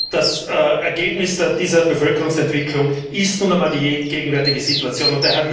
Das Ergebnis dieser Bevölkerungsentwicklung ist nun einmal die gegenwärtige Situation.